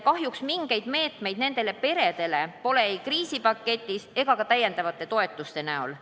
Kahjuks mingeid meetmeid nendele peredele pole ei kriisipaketis ega ka lisatoetuste näol.